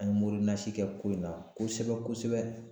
An ye mori nasi kɛ ko in na kosɛbɛ-kosɛbɛ